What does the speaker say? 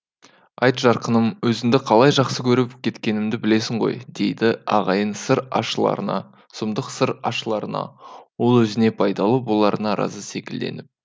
айт жарқыным өзіңді қалай жақсы көріп кеткенімді білесің ғой деді ағайын сыр ашыларына сұмдық сыр ашыларына ол өзіне пайдалы боларына разы секілденіп